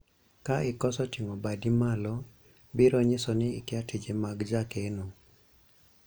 ka ikoso ting'o badi malo ,biro nyiso ni ikia tije mag jakeno